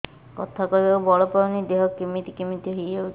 କଥା କହିବାକୁ ବଳ ପାଉନି ଦେହ କେମିତି କେମିତି ହେଇଯାଉଛି